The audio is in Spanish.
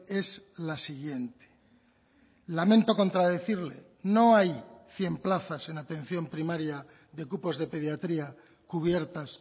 es la siguiente lamento contradecirle no hay cien plazas en atención primaria de cupos de pediatría cubiertas